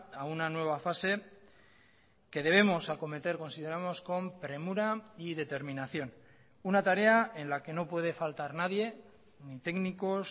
a una nueva fase que debemos acometer consideramos con premura y determinación una tarea en la que no puede faltar nadie ni técnicos